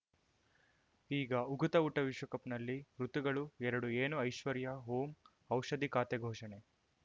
ಈಗ ಉಕುತ ಊಟ ವಿಶ್ವಕಪ್‌ನಲ್ಲಿ ಋತುಗಳು ಎರಡು ಏನು ಐಶ್ವರ್ಯಾ ಓಂ ಔಷಧಿ ಖಾತೆ ಘೋಷಣೆ